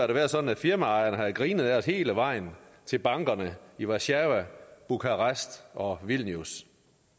det været sådan at firmaejerne har grinet ad os hele vejen til bankerne i warszawa bukarest og vilnius